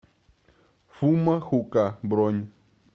фумо хука бронь